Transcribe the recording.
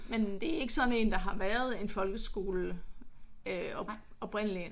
Men men det er ikke sådan der har været en folkeskole oprindeligt?